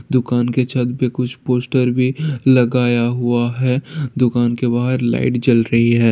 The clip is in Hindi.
दुकान के छत पे कुछ पोस्टर भी लगाया हुआ है दुकान के बाहर लाइट जल रही है।